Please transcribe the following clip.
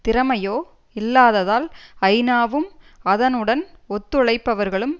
திறமையோ இல்லாததால் ஐநா வும் அதனுடன் ஒத்துழைப்பவர்களும்